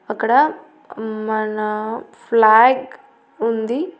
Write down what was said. అక్కడ మన ఫ్లాగ్ ఉంది.